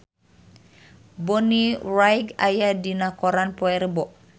Bonnie Wright aya dina koran poe Rebo